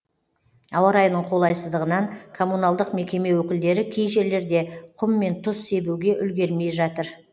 ауа райының қолайсыздығынан коммуналдық мекеме өкілдері кей жерлерде құм мен тұз себуге үлгермей жатыр